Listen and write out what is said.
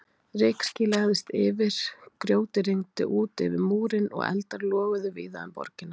Rykský lagðist yfir, grjóti rigndi út yfir múrinn og eldar loguðu víða um borgina.